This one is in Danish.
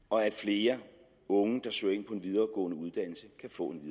og at flere unge der søger ind på en videregående uddannelse kan få en